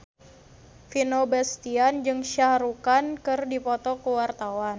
Vino Bastian jeung Shah Rukh Khan keur dipoto ku wartawan